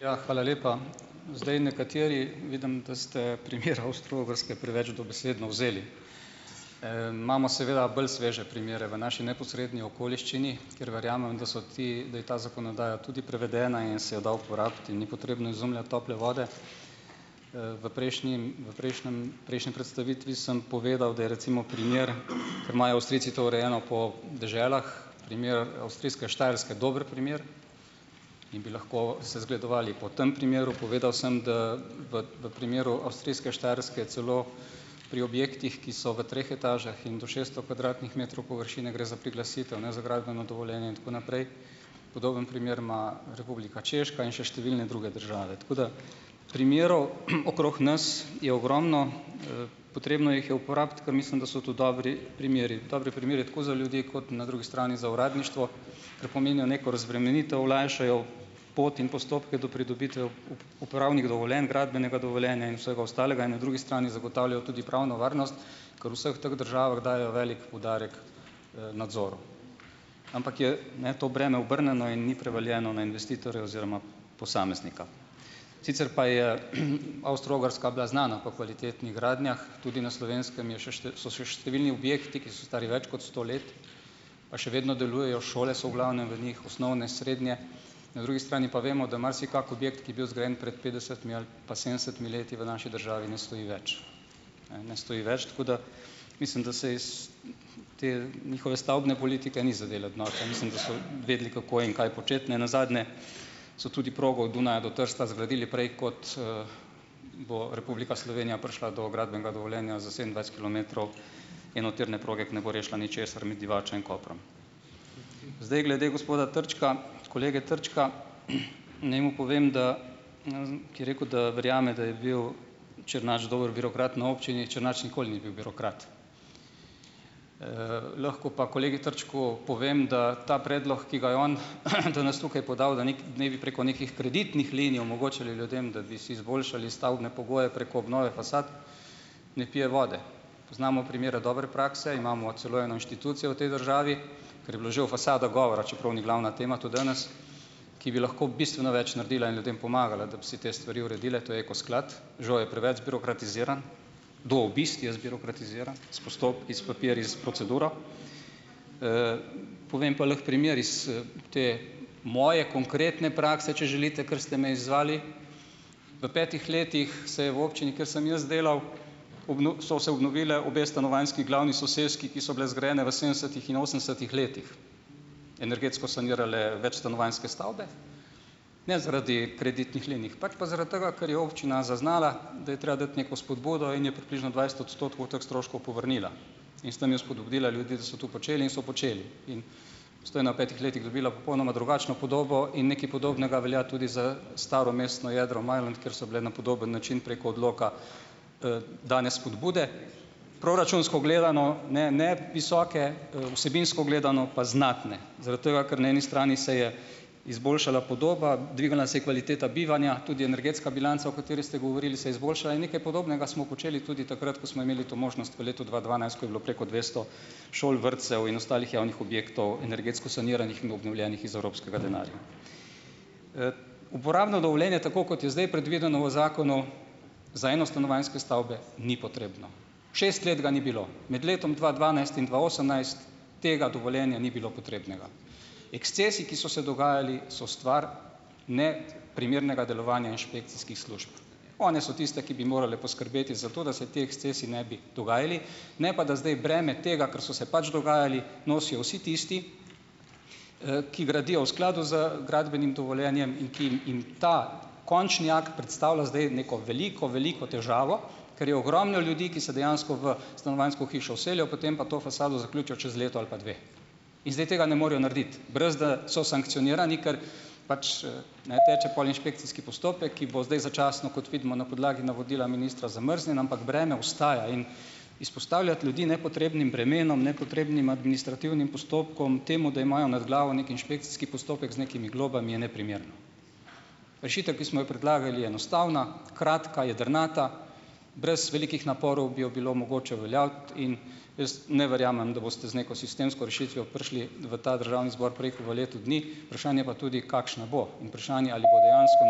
Ja, hvala lepa. Zdaj, nekateri, vidim, da ste primer Avstro-Ogrske preveč dobesedno vzeli. imamo seveda bolj sveže primere v naši neposredni okoliščini, kjer verjamem, da so ti - da je ta zakonodaja tudi prevedena in se jo da uporabiti - in ni potrebno izumljati tople vode. v prejšnjim, v prejšnjem, prejšnji predstavitvi sem povedal, da je recimo, primer - ker imajo Avstrijci to urejeno po deželah - primer avstrijske Štajerske dober primer. In bi lahko se zgledovali po tem primeru. Povedal sem, da v v primeru avstrijske Štajerske celo pri objektih, ki so v treh etažah in do šeststo kvadratnih metrov površine, gre za priglasitev, ne za gradbeno dovoljenje in tako naprej. Podoben primer ima Republika Češka in še številne druge države. Tako da - primerov okrog nas je ogromno. potrebno jih je uporabiti, ker mislim, da so tu dobri primeri. Dobri primeri tako za ljudi kot na drugi strani za uradništvo. Ker pomenijo neko razbremenitev, olajšajo pot in postopke do pridobitev uporabnih dovoljenj, gradbenega dovoljenja in vsega ostalega in na drugi strani zagotavljajo tudi pravno varnost, ker v vseh teh državah dajejo velik poudarek, nadzoru. Ampak je, ne, to breme obrnjeno in ni prevaljeno na investitorja oziroma posameznika. Sicer pa je Avstro-Ogrska bila znana po kvalitetnih gradnjah. Tudi na Slovenskem je še so še številni objekti, ki so stari več kot sto let. Pa še vedno delujejo. Šole so v glavnem v njih, osnovne, srednje. Na drugi strani pa vemo, da marsikak objekt, ki je bil zgrajen pred petdesetimi ali pa sedemdesetimi leti v naši državi, ne stoji več. Ne, ne stoji več. Tako da - mislim, da se iz te njihove stavbne politike ni za delati norca. Mislim, da so vedeli, kako in kaj početi. Nenazadnje so tudi progo od Dunaja do Trsta zgradili prej kot, bo Republika Slovenija prišla do gradbenega dovoljenja za sedemindvajset kilometrov enotirne proge, ki ne bo rešila ničesar, med Divačo in Koprom. Zdaj, glede gospoda Trčka. Kolege Trčka. Naj mu povem, da - ki je rekel, da verjame, da je bil Črnač dober birokrat na občini - Črnač nikoli ni bil birokrat. lahko pa kolegu Trčku povem, da ta predlog, ki ga je on danes tukaj podal, da naj bi preko nekih kreditnih linij omogočali ljudem, da bi si izboljšali stavbne pogoje preko obnove fasad - ne pije vode. Poznamo primere dobre prakse, imamo celo eno inštitucijo v tej državi - ker je bilo že o fasadah govora, čeprav ni glavna tema to danes - ki bi lahko bistveno več naredila in ljudem pomagala, da bi si te stvari uredile. To je Eko sklad. Žal je preveč zbirokratiziran. Do obisti je zbirokratiziran. S postopki, s papirji, s proceduro. Povem pa lahko primer iz, te moje konkretne prakse, če želite, ker ste me izzvali. V petih letih se je v občini, kjer sem jaz delal, sta se obnovili obe stanovanjski glavni soseski, ki sta bili zgrajeni v sedemdesetih in osemdesetih letih, energetsko sanirale večstanovanjske stavbe, ne zaradi kreditnih, pač pa zaradi tega, ker je občina zaznala, da je treba dati neko spodbudo in je približno dvajset odstotkov teh stroškov povrnila in s tam je spodbudila ljudi, da so to počeli in so počeli. In Postojna v petih letih dobila popolnoma drugačno podobo in nekaj podobnega velja tudi za staro mestno jedro Majlont, kjer so bile na podoben način preko odloka, dane spodbude, proračunsko gledano ne, ne visoke, vsebinsko gledano pa znatne zaradi tega, ker na eni strani se je izboljšala podoba, dvignila se je kvaliteta bivanja, tudi energetska bilanca, o kateri ste govorili, se je izboljšala in nekaj podobnega smo počeli tudi takrat, ko smo imeli to možnost v letu dva dvanajst, ko je bilo preko dvesto šol, vrtcev in ostalih javnih objektov energetsko saniranih in obnovljenih iz evropskega denarja. Uporabno dovoljenje, tako kot je zdaj predvideno v zakonu, za enostanovanjske stavbe ni potrebno, šest let ga ni bilo, med letom dva dvanajst in dva osemnajst tega dovoljenja ni bilo potrebnega. Ekscesi, ki so se dogajali, so stvar neprimernega delovanja inšpekcijskih služb. One so tiste, ki bi morale poskrbeti za to, da se ti ekscesi ne bi dogajali, ne pa da zdaj breme tega, ker so se pač dogajali, nosijo vsi tisti, ki gradijo v skladu z gradbenim dovoljenjem in ki jim ta končni akt predstavlja zdaj neko veliko, veliko težavo, ker je ogromno ljudi, ki se dejansko v stanovanjsko hišo vselijo, potem pa to fasado zaključijo čez leto ali pa dve. In zdaj tega ne morejo narediti, brez da so sankcionirani, ker pač, ne, teče pol inšpekcijski postopek, ki bo zdaj začasno, kot vidimo, na podlagi navodila ministra zamrznjen, ampak breme ostaja. In izpostavljati ljudi nepotrebnim bremenom, nepotrebnim administrativnim postopkom, temu, da imajo nad glavo neki inšpekcijski postopek z nekimi globami, je neprimerno. Rešitev, ki smo jo predlagali, je enostavna, kratka, jedrnata, brez velikih naporov bi jo bilo mogoče uveljaviti. In jaz ne verjamem, da boste z neko sistemsko rešitvijo prišli v ta državni zbor prej ko v letu dni, vprašanje pa tudi, kakšna bo, in vprašanje, ali bo dejansko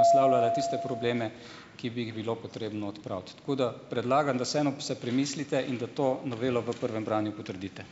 naslavljala tiste probleme, ki bi jih bilo potrebno odpraviti. Tako da predlagam, da vseeno se premislite in da to novelo v prvem branju potrdite.